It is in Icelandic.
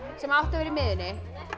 sem átti að vera í miðjunni